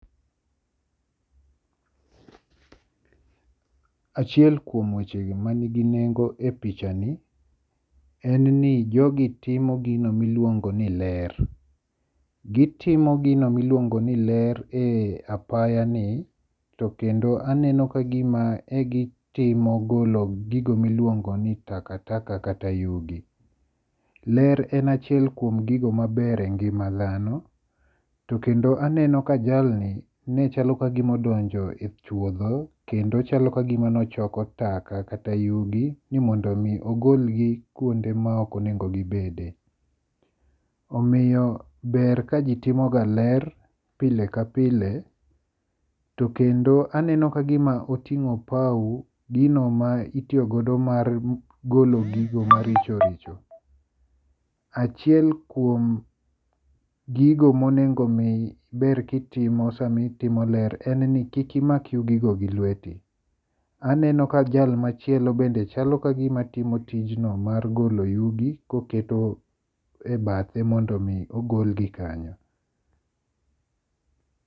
Achiel kuom weche gi maniigi nengo e pichani en ni jogi timo gino miluongo ni ler. Gitimo gino miluongo ni ler e apaya ni. To kendo aneno kagima e gitimo golo gigo miluongo ni takataka kata yugi. Ler en achiel kuom gigo maber engima dhano. To kendo aneno ka jalni ne chalo kagima odonjo e chuodho kendo chalo kagima nochoko taka kata yugi ni mondo mi ogolgi kuonde ma ok onego gibedie. Omiyo ber ka ji timo ga ler pile ka pile. To kendo aneno kagima oting'o opaw gino ma itiyogodo mar golo gigo maricho richo. Achiel kuom gigo monengo mi ber kitimo samitimo ler en ni kik imak yugi go gi lweti. Aneno ka jal machielo bende chalo kagima timo tijno mar golo yugi koketo e bathe mondo mi ogol gi kanyo.